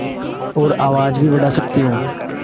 और आवाज़ भी बढ़ा सकती हूँ